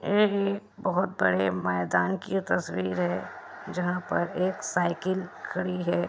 एभी बोहोत बड़े मैदान की तस्वीर है जहाँ पर एक साइकिल खड़ी है।